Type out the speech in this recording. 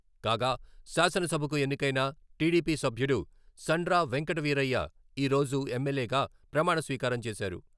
కాగా, శాసనసభకు ఎన్నికైన టీడీపీ సభ్యుడు సండ్ర వెంకటవీరయ్య ఈ రోజు ఎమ్మెల్యేగా ప్రమాణస్వీకారం చేశారు.